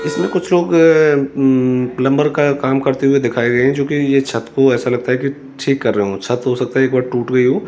इसमें कुछ लोग प्लंबर का काम करते हुए दिखाये गए हैं जो कि ये छत को ऐसा लगता है कि ठीक कर रहे हों छत हो सकता है एक बार टूट गई हो।